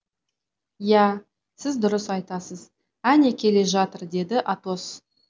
ия сіз дұрыс айтасыз әне келе жатыр деді атос